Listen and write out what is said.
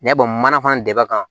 N y'a dɔn manafan dɛmɛ